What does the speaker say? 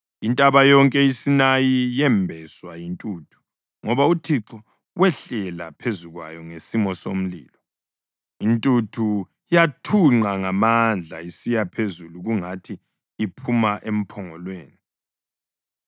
Intaba yonke iSinayi yembeswa yintuthu ngoba uThixo wehlela phezu kwayo ngesimo somlilo. Intuthu yathunqa ngamandla isiya phezulu kungathi iphuma emphongolweni.